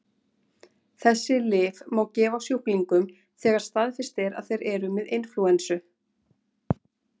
Þessi lyf má gefa sjúklingum þegar staðfest er að þeir eru með inflúensu.